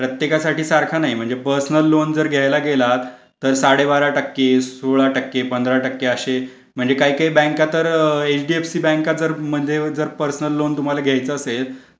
त्याच्यासाठी सारखा नाही म्हणजे पर्सनल लोन जर घ्यायला गेलात तर साडेबारा टक्के सोळा टक्के पंधरा टक्के असे म्हणजे काय काय बँक तर एचडीएफसी बँक जर पर्सनल लोन तुम्हाला घ्यायचा असेल